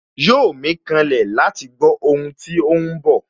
Yóò mí kanlẹ̀ láti gbó ohun tí óhún bọ̀